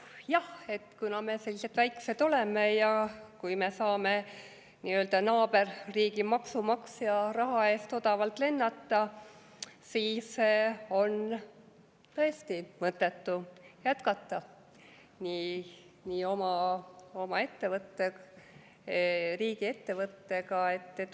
Jah, kuna me sellised väiksed oleme ja kui me saame nii-öelda naaberriigi maksumaksja raha eest odavalt lennata, siis on tõesti mõttetu jätkata oma ettevõttega, riigiettevõttega.